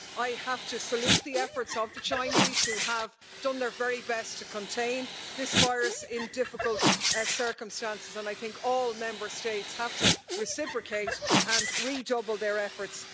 I have to salute the efforts of the Chinese, who have done their very best to contain this virus in difficult circumstances, and I think all Member States have to reciprocate and redouble their efforts.